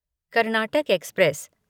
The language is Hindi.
कर्नाटक एक्सप्रेस